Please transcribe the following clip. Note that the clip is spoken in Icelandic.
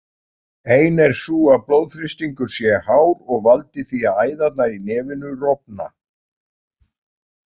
Ein er sú að blóðþrýstingur sé hár og valdi því að æðarnar í nefinu rofna.